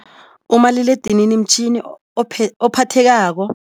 Umaliledinini mtjhini ophathekako.